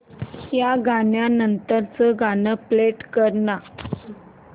या गाण्या नंतरचं गाणं प्ले कर ना